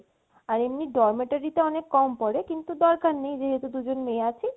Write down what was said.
আর dormitory তে অনেক কম পরে কিন্তু দরকার নেই যেহেতু দুইজন মেয়ে আছি